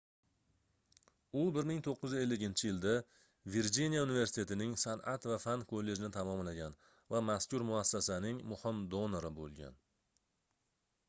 u 1950-yilda virjiniya universitetining sanʼat va fan kollejini tamomlagan va mazkur muassasaning muhim donori boʻlgan